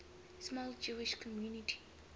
small jewish community